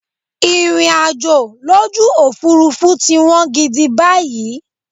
Ìrìnàjò lójú Òfurufú ti wọ́n gidi báyìí.